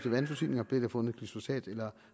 af vandforsyninger blev der fundet glyfosat eller